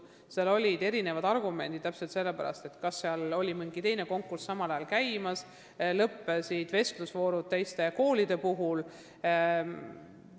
Põhjuseks toodi erinevaid argumente: täpselt samal ajal käis mingi teine konkurss ja lõppesid vestlusvoorud teiste koolide direktorikandidaatidega.